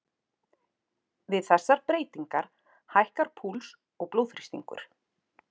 Við þessar breytingar hækkar púls og blóðþrýstingur.